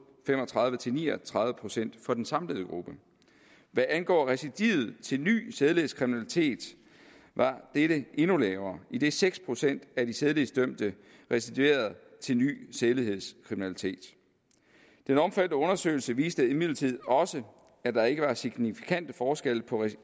fem og tredive til ni og tredive procent for den samlede gruppe hvad angår recidivet til ny sædelighedskriminalitet var dette endnu lavere idet seks procent af de sædelighedsdømte recidiverede til ny sædelighedskriminalitet den omfattende undersøgelse viste imidlertid også at der ikke var signifikante forskelle på